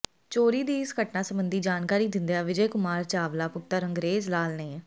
ਚੋਰੀ ਦੀ ਇਸ ਘਟਨਾ ਸਬੰਧੀ ਜਾਣਕਾਰੀ ਦਿੰਦਿਆਂ ਵਿਜੇ ਕੁਮਾਰ ਚਾਵਲਾ ਪੁੱਤਰ ਅੰਗਰੇਜ ਲਾਲ ਨੇ